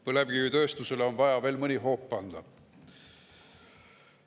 Põlevkivitööstusele on vaja veel mõni hoop anda.